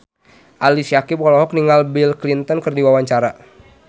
Ali Syakieb olohok ningali Bill Clinton keur diwawancara